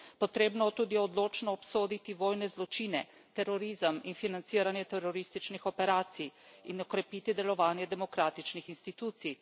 Potrebno je tudi odločno obsoditi vojne zločine, terorizem in financiranje terorističnih operacij in okrepiti delovanje demokratičnih institucij.